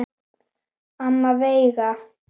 Amma Veiga.